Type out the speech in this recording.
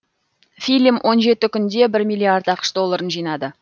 фильм он жеті күнде бір миллиард ақш долларын жинады